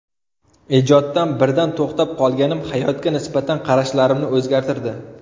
Ijoddan birdan to‘xtab qolganim hayotga nisbatan qarashlarimni o‘zgartirdi.